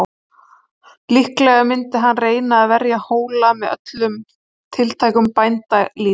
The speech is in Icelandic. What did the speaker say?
Líklega myndi hann reyna að verja Hóla með öllum tiltækum bændalýð.